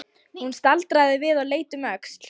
Hún staldraði við og leit um öxl.